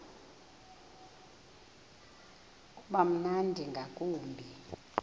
uba mnandi ngakumbi